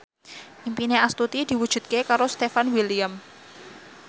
impine Astuti diwujudke karo Stefan William